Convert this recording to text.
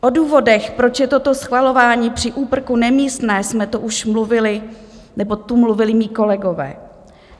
O důvodech, proč je toto schvalování při úprku nemístné, jsme tu už mluvili, nebo tu mluvili mí kolegové.